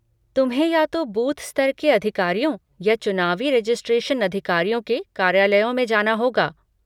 तुम्हें या तो बूथ स्तर के अधिकारियों या चुनावी रेसजिस्ट्रेशन अधिकारियों के कार्यालयों में जाना होगा।